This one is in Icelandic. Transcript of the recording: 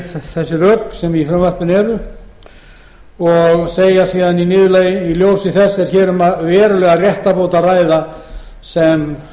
þessi rök sem í frumvarpinu eru og segja síðan í niðurlagi í ljósi eins er hér um verulega réttarbót að ræða sem